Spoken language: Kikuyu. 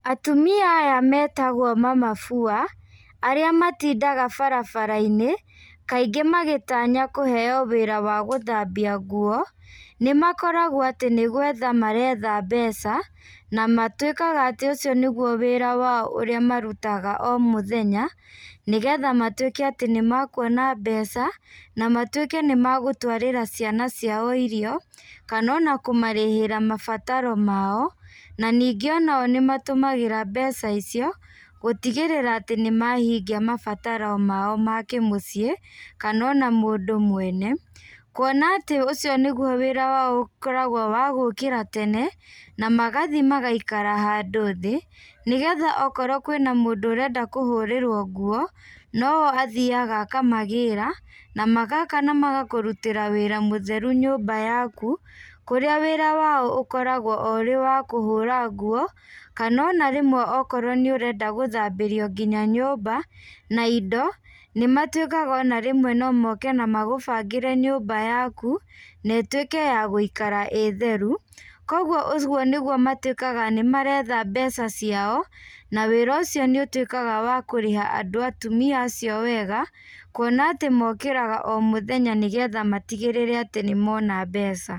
Atumia aya metagwo mama fua arĩa matindaga barabarainĩ, kaingĩ magĩtanya kũheo wĩra wa gũthambia nguo, nĩmakoragwo atĩ nĩgwetha maretha mbeca, na matuĩkaga atĩ ũcio nĩguo wĩra wao ũrĩa marutaga o mũthenya, nĩgetha matuĩke atĩ nĩmakuona mbeca, na matuĩke nĩmagũtwarĩra ciana ciao irio, kana ona kũmarĩhĩra mabataro mao, na ningĩ onao nĩmatũmagĩra mbeca icio, gũtigĩrĩra atĩ nĩmahingia mabataro mao makĩmũciĩ, kana ona mũndũ mwene, kuona atĩ ũcio nĩguo wĩra wao ũkoragwo wa gũkĩra tene, na magathiĩ magaikara handũ thĩ, nĩgetha okorwo kwĩna mũndũ ũrenda kũhũrĩrwo nguo, noho athiaga akamagĩra, namagoka namagakũrutĩra wĩra mũtheru nyũmba yaku, kũrĩa wĩra wao ũkoragwo o ũrĩ wa kũhũra nguo, kana ona rĩmwe okorwo nĩũrenda gũthambĩrio nginya nyũmba, na indo, nĩmatuĩkaga ona rĩmwe no moke nagũbangĩre nyũmba yaku, na ĩtuĩke ya gũikara ĩ theru, koguo ũguo nĩguo matuĩkaga nĩmaretha mbeca ciao, na wĩra ũcio nĩũtuĩkaga wa kũrĩha andũ atumia acio wega, kuona atĩ mokĩraga o mũthenya nĩgetha matigĩrĩre atĩ nĩmona mbeca.